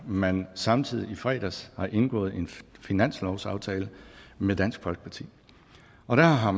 man samtidig i fredags har indgået en finanslovsaftale med dansk folkeparti og der har